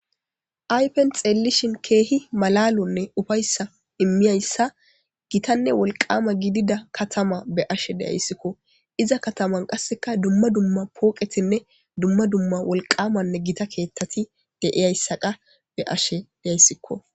Aypen xeellishin keehi malalonne ufayssa immiyayssa gitanne wolqama gidida katama be ashe deyayssikko iza kataman qasseka dumma dumma pooqetinne dumma dumma wolqamanne gita keethtati deiyayssaqa be ashe deyayssikko.